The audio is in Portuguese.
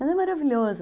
Mas é maravilhoso.